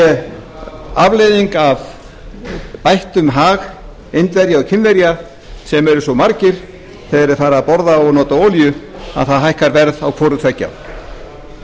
sé afleiðing af bættum hag indverja og kínverja sem eru svo margir þegar þeir fara að borða og nota olíu að það hækkar verð á hvorutveggja